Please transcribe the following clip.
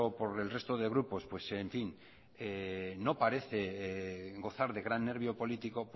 por el resto de grupos pues en fin no parece gozar de gran nervio político